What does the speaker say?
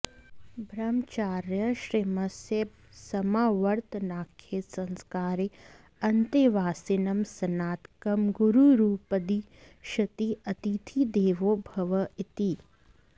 ब्रह्मचर्याश्रमस्य समावर्तनाख्ये संस्कारे अन्तेवासिनं स्नातकं गुरुरुपदिशति अतिथिदेवो भव इति